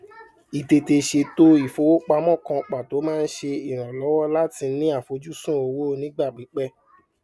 ìtètè sètò ìfowópamọn kan pàtó máa ń ṣe ìrànlọwọ láti ní àfojúsùn owó onígbà pípẹ